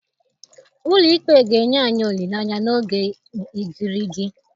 Ụlọ ikpe ga-enye anyị olileanya n'oge igirigi